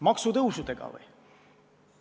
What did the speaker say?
Maksutõusudega või?